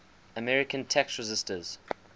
american tax resisters